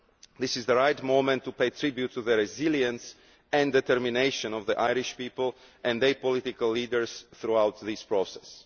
This is the right moment to pay tribute to the resilience and determination of the Irish people and their political leaders throughout this process.